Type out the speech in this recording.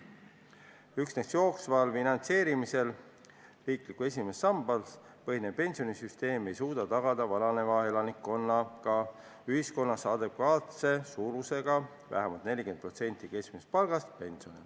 Üksnes jooksval finantseerimisel, riiklikul esimesel sambal põhinev pensionisüsteem ei suuda tagada vananeva elanikkonnaga ühiskonnas piisavalt suuri pensione, mis moodustaksid vähemalt 40% keskmisest palgast.